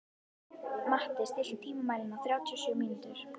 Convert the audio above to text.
Matti, stilltu tímamælinn á þrjátíu og sjö mínútur.